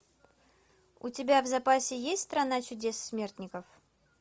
у тебя в запасе есть страна чудес смертников